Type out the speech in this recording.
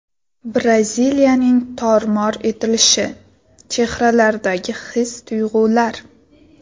Braziliyaning tor-mor etilishi: chehralardagi his-tuyg‘ular .